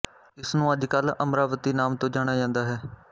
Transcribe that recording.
ਇਸਨੂੰ ਅੱਜ ਕੱਲ ਅਮਰਾਵਤੀ ਨਾਮ ਤੋਂ ਜਾਣਿਆ ਜਾਂਦਾ ਹੈ